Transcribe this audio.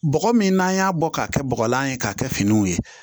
Bɔgɔ min n'an y'a bɔ k'a kɛ bɔgɔlan ye k'a kɛ finiw ye